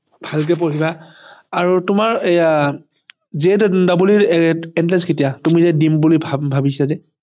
আৰু তোমাৰ এয়া JEE ৰ Entrance কেতিয়া তুমি যে দিম বুলি ভাবিছা যে ভালকে পঢ়িবা